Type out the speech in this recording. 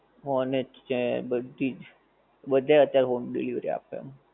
honest છે બધીજ બધે અત્યારે home delivery આપે